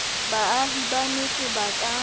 baahi ba metse ba ka